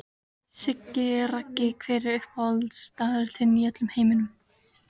Siggi Raggi Hver er uppáhaldsstaðurinn þinn í öllum heiminum?